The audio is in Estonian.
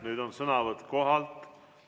Nüüd on sõnavõtt koha pealt.